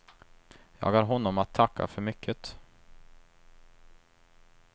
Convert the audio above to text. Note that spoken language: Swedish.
Jag har honom att tacka för mycket.